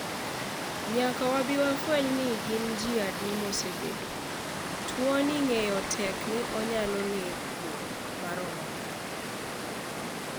Nyaka wabi wafweny ni gin ji adi mosebedo, tuoni ng'eyo tek ni onyalo neko maromo nade.